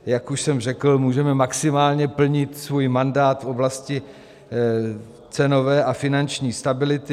Jak už jsem řekl, můžeme maximálně plnit svůj mandát v oblasti cenové a finanční stability.